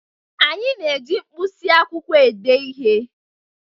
Anyị na-eji mkpịsị akwụkwọ ede ihe